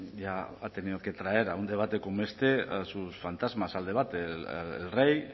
ya ha tenido que traer a un debate como este a sus fantasmas al debate el rey